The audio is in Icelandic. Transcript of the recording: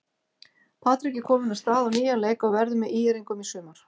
Patrik er kominn af stað á nýjan leik og verður með ÍR-ingum í sumar.